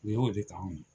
U y'o de kanu